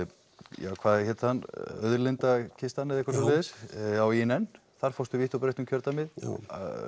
ja hvað hét hann auðlinda kistan eða eitthvað svoleiðis já á ÍNN þar fórstu vítt og breitt um kjördæmið jú